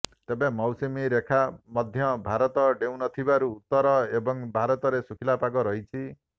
ତେବେ ମୌସୁମୀ ରେଖା ମଧ୍ୟଭାରତ ଡେଉଁ ନଥିବାରୁ ଉତ୍ତର ଏବଂ ଭାରତରେ ଶୁଖିଲା ପାଗ ରହିଛି